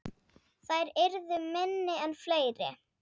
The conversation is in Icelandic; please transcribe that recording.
Þær yrðu minni en fleiri.